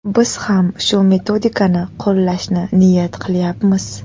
Biz ham shu metodikani qo‘llashni niyat qilayapmiz.